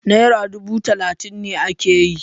Nera dubu talatin ne ake yi.